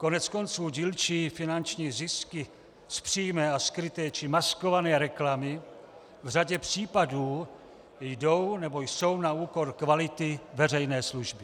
Koneckonců dílčí finanční zisky z přímé a skryté či maskované reklamy v řadě případů jdou nebo jsou na úkor kvality veřejné služby.